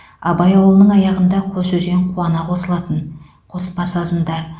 абай ауылының аяғында қос өзен қуана қосылатын қоспа сазында